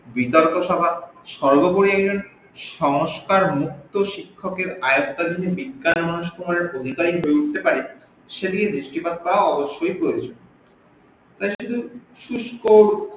বিতর্ক সভা সর্বোপরি একজন সহ্স্কার মুক্ত শিক্ষকের আয়ত্তে যদি বিজ্ঞান মনস্ক ভাবে পরিবাহী হয়ে উঠতে পারে সেদিকে দৃষ্টিপাত করা অবশ্যই প্রয়োজন শুস্ক